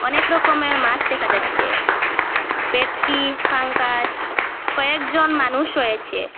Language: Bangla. অনেক রকমের মাছ দেখা যাচ্ছে ভেটকি পাঙ্গাস কয়েকজন মানুষ রয়েছে।